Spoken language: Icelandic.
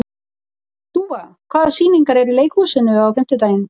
Dúfa, hvaða sýningar eru í leikhúsinu á fimmtudaginn?